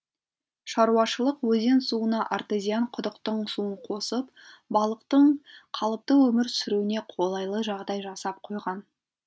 шаруашылық өзен суына артезиан құдықтың суын қосып балықтың қалыпты өмір сүруіне қолайлы жағдай жасап қойған